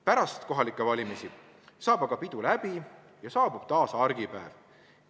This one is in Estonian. Pärast kohalikke valimisi saab aga pidu läbi ja saabub taas argipäev.